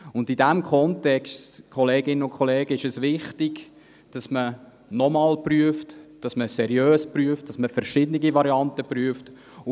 In diesem Kontext, liebe Kolleginnen und Kollegen, ist es wichtig, dass man nochmals prüft, dass man seriös prüft und verschiedene Varianten anschaut.